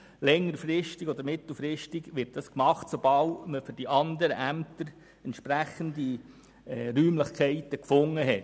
Länger- oder mittelfristig wird dies getan werden, sobald man für die andern Ämter entsprechende Räumlichkeiten gefunden hat.